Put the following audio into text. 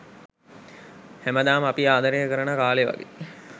හැමදාම අපි ආදරය කරන කාලේ වගේ